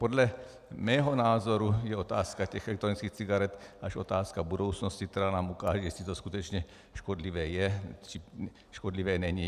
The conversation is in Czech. Podle mého názoru je otázka těch elektronických cigaret až otázka budoucnosti, která nám ukáže, jestli to skutečně škodlivé je, či škodlivé není.